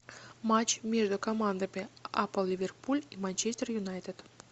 матч между командами апл ливерпуль и манчестер юнайтед